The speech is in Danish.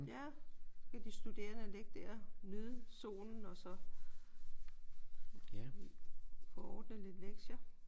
Ja så kan de studerende ligge der og nyde solen og så få ordnet lidt lektier